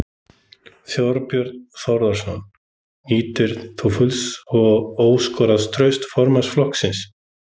Þorbjörn Þórðarson: Nýtur þú fulls og óskoraðs trausts formanns flokksins?